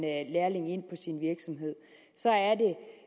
lærling ind på sin virksomhed så